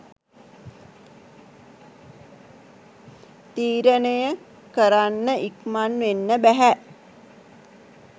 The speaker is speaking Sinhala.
තීරණය කරන්න ඉක්මන් වෙන්න බැහැ